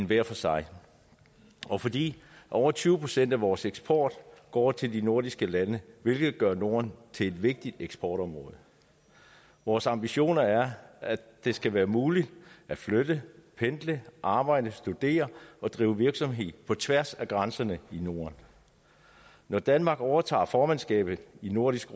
hver for sig og fordi over tyve procent af vores eksport går til de nordiske lande hvilket gør norden til et vigtigt eksportområde vores ambition er at det skal være muligt at flytte pendle arbejde studere og drive virksomhed på tværs af grænserne i norden når danmark overtager formandskabet i nordisk